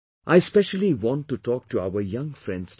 I specially want to talk to our young friends today